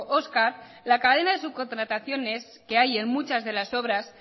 oscar la cadena de subcontrataciones que hay en muchas de las obras